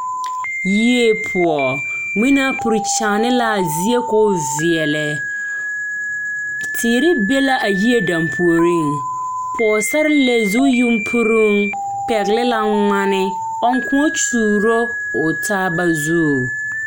Yie poɔ ngmenaa puri kyaane laa zie koo veɛlɛ teere be la a yie dampuoriŋ pɔɔsarelee zu yunpuroŋ pɛgle la ngmane ɔŋ kyuuro o taaba zu.